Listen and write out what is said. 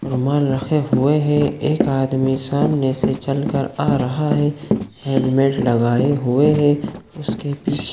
रूमाल रखे हुए है एक आदमी सामने से चलकर आ रहा है हेलमेट लगाए हुए है उसके पीछे --